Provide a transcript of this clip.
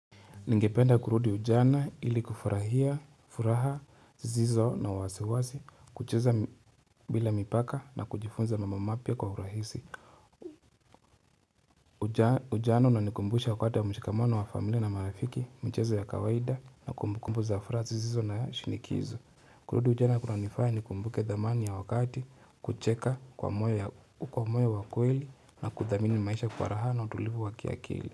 Ningependa kurudi ujana ili kufurahia, furaha, zizo na wasiwasi, kucheza bila mipaka na kujifunza mambo mapia kwa hurahisi. Ujana unanikumbusha wakati mshikamono wa familia na marafiki, mchezo ya kawaida na kumbukumbu za furaha zizo na shinikizo. Kurudi ujana kuna nifaya ni kumbuke damani ya wakati, kucheka kwa moyo wakweli na kuthamini maisha kwa raha na utulivu wakiakili.